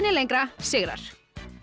lengra sigrar